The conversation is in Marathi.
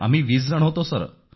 आम्ही वीसजण होतो सर